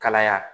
Kalaya